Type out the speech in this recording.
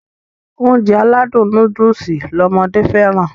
Ounjẹ aládùn nóódùsì lọmọdé fẹ́ràn